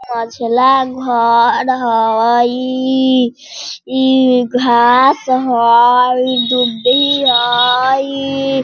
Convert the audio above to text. घर हई इ घास हई इ दुब्बी हईई।